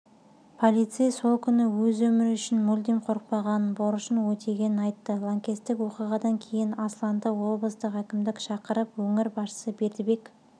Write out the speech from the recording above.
полицей сол күні өз өмірі үшін мүлдем қорықпағанын борышын өтегенін айтты лаңкестік оқиғадан кейін асланды облыстық әкімдік шақырып өңір басшысы бердібек